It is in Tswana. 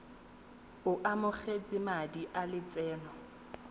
o amogetse madi a lotseno